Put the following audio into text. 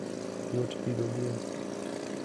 Yot pidho gwen.